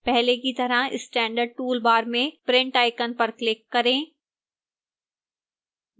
पहले की तरह standard toolbar में print icon पर click करें